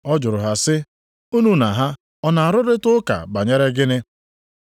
Ọ jụrụ ha sị, “Unu na ha ọ na-arụrịta ụka banyere gịnị?”